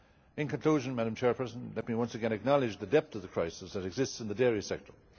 In conclusion, let me once again acknowledge the depth of the crisis that exists in the dairy sector.